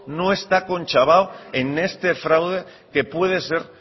no está conchabado en este fraude que puede ser